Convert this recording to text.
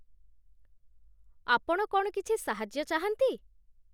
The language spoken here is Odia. ଆପଣ କ'ଣ କିଛି ସାହାଯ୍ୟ ଚାହାନ୍ତି?